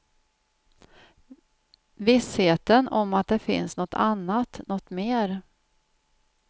Vissheten om att det finns något annat, något mer.